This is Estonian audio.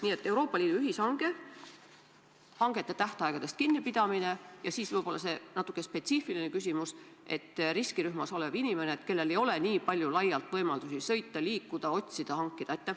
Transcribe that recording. Nii et: Euroopa Liidu ühishange, hangete tähtaegadest kinnipidamine ja siis see natuke spetsiifilisem küsimus riskirühmas olevate inimeste kohta, kellel ei ole laialt võimalusi sõita, liikuda, otsida, hankida.